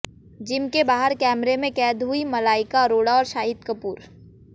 gym के बाहर कैमरे में कैद हुए मलाइका अरोड़ा और शाहिद कपूर